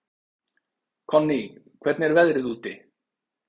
Konný, hvernig er veðrið úti?